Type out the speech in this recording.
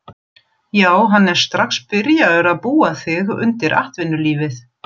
Já hann er strax byrjaður að búa þig undir atvinnulífið.